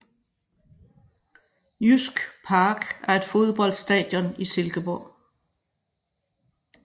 Jysk Park er et fodboldstadion i Silkeborg